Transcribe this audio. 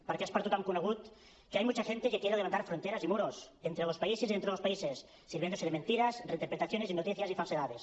perquè és per tothom conegut que hay mucha gente que quiere levantar fronteras y muros entre los países y dentro de los países sirviéndose de mentiras reinterpretaciones y noticias y falsedades